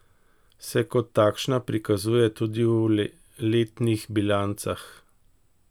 Se kot takšna prikazuje tudi v letnih bilancah?